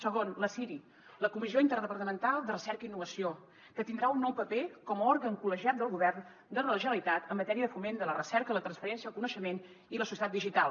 segon la ciri la comissió interdepartamental de recerca i innovació que tindrà un nou paper com a òrgan col·legiat del govern de la generalitat en matèria de foment de la recerca la transferència el coneixement i la societat digital